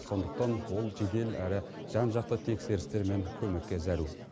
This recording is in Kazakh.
сондықтан ол жедел әрі жан жақты тексерістер мен көмекке зәру